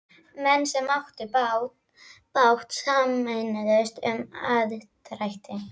Menn sem áttu báta sameinuðust um aðdrætti.